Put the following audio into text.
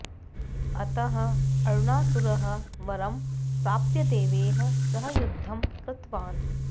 अतः अरुणासुरः वरं प्राप्य देवैः सह युद्धं कृतवान्